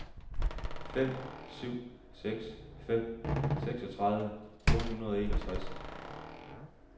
fem syv seks fem seksogtredive otte hundrede og enogtres